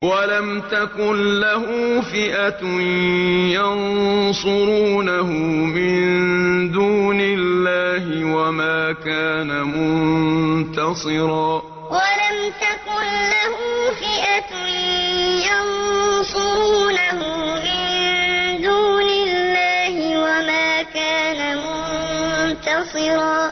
وَلَمْ تَكُن لَّهُ فِئَةٌ يَنصُرُونَهُ مِن دُونِ اللَّهِ وَمَا كَانَ مُنتَصِرًا وَلَمْ تَكُن لَّهُ فِئَةٌ يَنصُرُونَهُ مِن دُونِ اللَّهِ وَمَا كَانَ مُنتَصِرًا